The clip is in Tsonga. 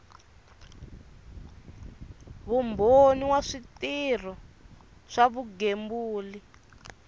vumbhoni wa switirhiso swa vugembuli